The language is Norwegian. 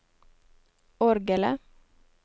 orgelet